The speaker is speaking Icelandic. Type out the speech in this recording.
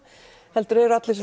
heldur eru allir svo